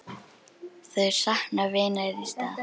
Þau sakna vinar í stað.